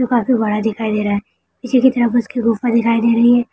जो काफी बड़ा दिखाई दे रहा है पीछे की तरफ उसकी गुफा दिखाई दे रही है